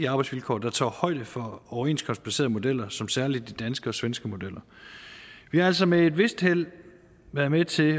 arbejdsvilkår der tager højde for overenskomstbaserede modeller som særlig de danske og svenske modeller vi har altså med et vist held været med til at